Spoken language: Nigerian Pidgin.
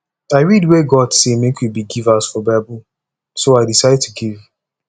i read where god say make we be givers for bible so i decide to give